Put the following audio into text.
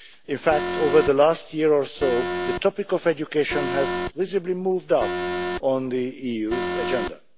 In fact, over the last year or so the topic of education has visibly moved up on the EU's agenda.